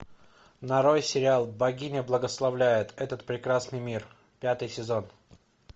нарой сериал богиня благословляет этот прекрасный мир пятый сезон